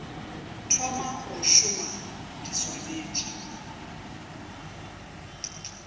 thoma go šoma di swanetše